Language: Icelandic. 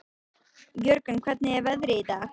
Jörgen, hvernig er veðrið í dag?